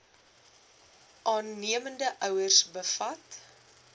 aannemende ouers bevat